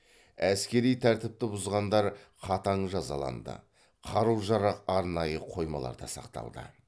әскери тәртіпті бұзғандар қатаң жазаланды қару жарақ арнайы қоймаларда сақталды